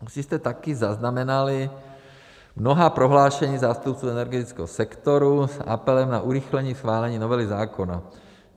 Asi jste také zaznamenali mnohá prohlášení zástupců energetického sektoru s apelem na urychlení chválení novely zákona.